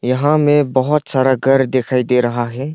यहां में बहुत सारा घर दिखाई दे रहा है।